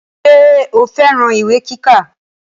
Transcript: Ṣé o fẹ́ran ìwé kíkà